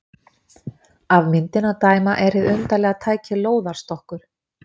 Af myndinni að dæma er hið undarlega tæki lóðarstokkur.